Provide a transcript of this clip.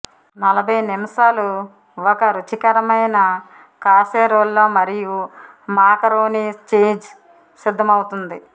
నలభై నిమిషాలు ఒక రుచికరమైన కాసేరోల్లో మరియు మాకరోనీ చీజ్ సిద్ధమౌతోంది